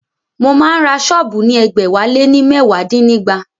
Mo máa ń ra sọ́ọ̀bù ní ẹgbẹ̀wáléní mẹwa dínígba